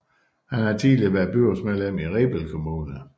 Han har tidligere været byrådsmedlem i Rebild Kommune